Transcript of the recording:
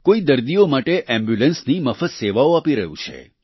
કોઈ દર્દીઓ માટે એમ્બ્યુલન્સની મફત સેવાઓ આપી રહ્યું છે